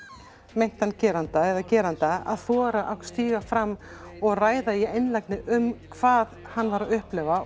meintan geranda eða geranda að þora að stíga fram og ræða í einlægni um hvað hann var að upplifa og